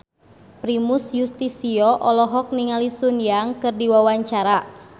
Primus Yustisio olohok ningali Sun Yang keur diwawancara